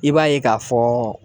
I b'a ye k'a fɔɔɔ